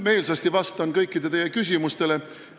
Ma vastan meelsasti kõikidele teie küsimustele.